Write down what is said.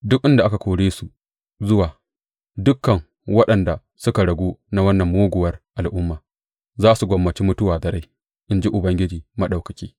Duk inda na kore su zuwa, dukan waɗanda suka ragu na wannan muguwar al’umma za su gwammaci mutuwa da rai, in ji Ubangiji Maɗaukaki.’